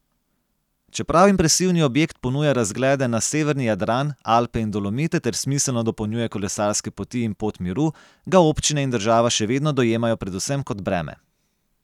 Čeprav impresivni objekt ponuja razglede na severni Jadran, Alpe in Dolomite ter smiselno dopolnjuje kolesarske poti in Pot miru, ga občine in država še vedno dojemajo predvsem kot breme.